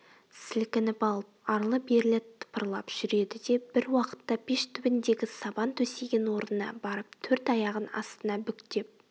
сілкініп алып арлы-берлі тыпырлап жүреді де бір уақытта пеш түбіндегі сабан төсеген орнына барып төрт аяғын астына бүктеп